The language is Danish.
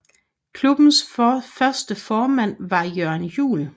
Klubbens første formand var Jørn Juel